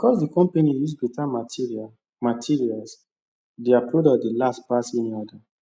because the company use better materials materials their product dey last pass any other